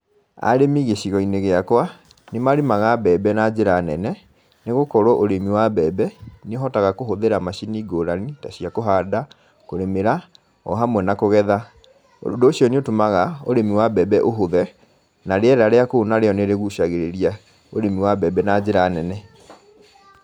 Arĩmi gĩcigo-inĩ gĩakwa, nĩ marĩmaga mbembe na njĩra nene, nĩ gũkorwo ũrĩmi wa mbembe, nĩ ũhotaga kũhũthĩra macini ngũrani ta cia kũhanda, kũrĩmĩra, o hamwe na kũgetha. Ũndũ ũcio nĩ ũtũmaga ũrĩmi wa mbembe ũhũthe, na rĩera rĩa kũu na rĩo nĩ rĩgucagĩrĩria ũrĩmi wa mbembe na njĩra nene.